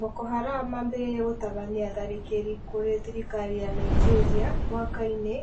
Boko Haram mambĩrĩirie gũtabania tharĩkĩrĩ kũrĩ thirikari ya Nigeria mwaka-inĩ